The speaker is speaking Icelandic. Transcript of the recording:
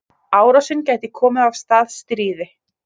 Árásin geti komið af stað stríði